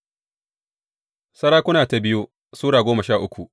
biyu Sarakuna Sura goma sha uku